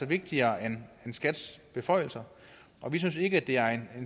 vigtigere end skats beføjelser vi synes ikke det er en